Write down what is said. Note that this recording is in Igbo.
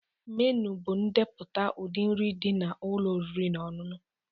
Menu bụ ndepụta ụdị nri dị na ụlọ oriri na ọṅụṅụ